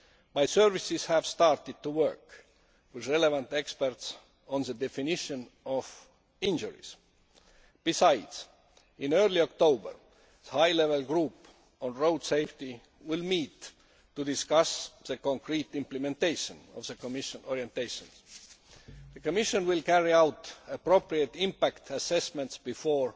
My services have started to work with relevant experts on the definition of injuries. Besides, in early October the High Level Group on Road Safety will meet to discuss the concrete implementation of the Commission orientations. The Commission will carry out appropriate impact assessments before